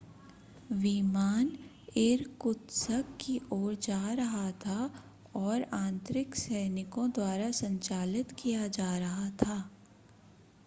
विमान इरकुत्स्क की ओर जा रहा था और आंतरिक सैनिकों द्वारा संचालित किया जा रहा था